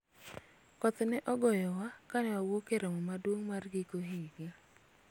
koth ne ogoyowa kane wawuok e romo maduong' mar giko higa